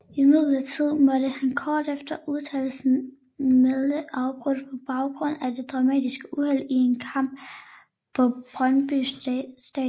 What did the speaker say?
Imidlertid måtte han kort efter udtagelsen melde afbud på baggrund af et dramatisk uheld i en kamp på Brøndby Stadion